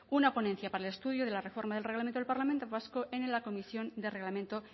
una ponencia para el estudio de la reforma del reglamento del parlamento vasco en la comisión de reglamento